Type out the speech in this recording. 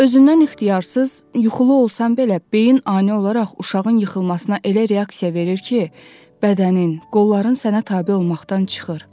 Özündən ixtiyarsız, yuxulu olsan belə beyin ani olaraq uşağın yıxılmasına elə reaksiya verir ki, bədənin, qolların sənə tabe olmaqdan çıxır.